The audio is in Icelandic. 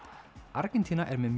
Argentína er með